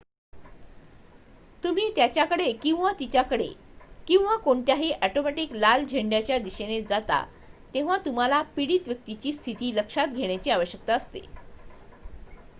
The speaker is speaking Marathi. तुम्ही त्याच्याकडे किंवा तिच्याकडे किंवा कोणत्याही ऑटोमॅटिक लाल झेंड्यांच्या दिशेने जाता तेव्हा तुम्हाला पीडित व्यक्तीची स्थिती लक्षात घेण्याची आवश्यकता असते